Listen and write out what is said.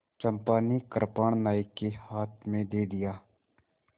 चंपा ने कृपाण नायक के हाथ में दे दिया